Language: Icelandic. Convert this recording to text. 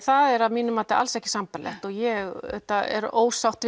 það er að mínu mati alls ekki sambærilegt og ég er ósátt